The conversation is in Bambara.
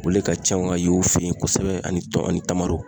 Olu le ka ca ka yen u fe yen kosɛbɛ ani tɔn ani tamamaro.